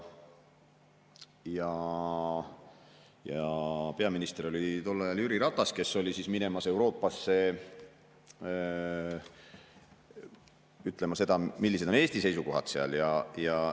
Peaminister oli tol ajal Jüri Ratas, kes oli minemas Euroopasse ütlema, millised on Eesti seisukohad.